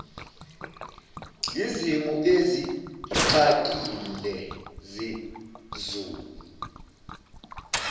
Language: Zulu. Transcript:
yizimo ezixakile zezulu